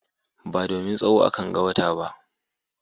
Ba domin tsawo akanga wata ba.